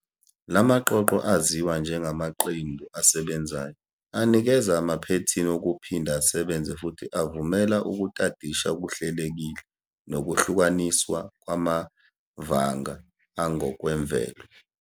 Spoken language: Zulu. La maqoqo, aziwa njengamaqembu asebenzayo, anikeza amaphethini wokuphinda asebenze futhi avumela ukutadisha okuhlelekile nokuhlukaniswa kwamavanga angokwemvelo.